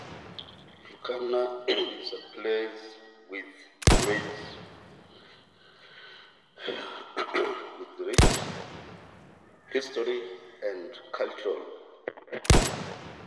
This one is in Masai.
Turkana:Emurua nata karsisisho sapuk e nkatini o utamadumi.